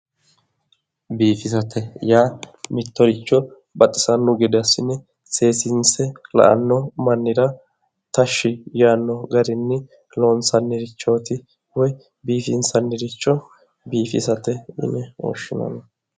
Biifisate yaa mittoricho baxisano gede assine seesinse la"ano mannira tashshi yaanno garinni loonsannirichoti woyi biifinsanniricho biifisate yinne woshshinnanni.